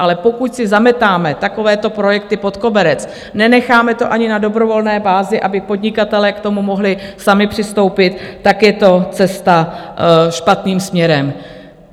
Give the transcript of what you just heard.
Ale pokud si zametáme takovéto projekty pod koberec, nenecháme to ani na dobrovolné bázi, aby podnikatelé k tomu mohli sami přistoupit, tak je to cesta špatným směrem.